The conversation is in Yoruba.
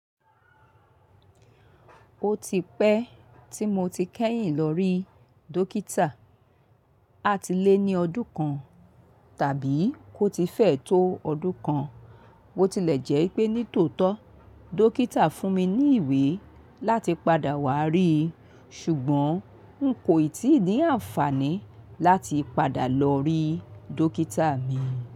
Ó ti pẹ́ tí mo ti kẹ́yìn lórí dókítà. A ti lé ní ọdún kan tàbí kó ti fẹ̀ tó ọdún kan. Mo tilẹ̀ jẹ́ pé nítòótó dókítà fún mi ní ìwé láti padà wá ríi ṣùgbọ́n n kò ì tí ì ní àǹfààní láti padà lọ rí dókítà mi.